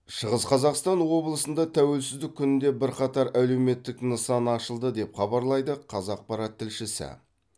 шығыс қазақстан облысында тәуелсіздік күнінде бірқатар әлеуметтік нысан ашылды деп хабарлайды қазақпарат тілшісі